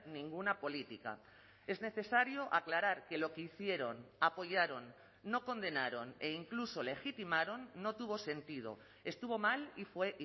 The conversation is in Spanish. ninguna política es necesario aclarar que lo que hicieron apoyaron no condenaron e incluso legitimaron no tuvo sentido estuvo mal y fue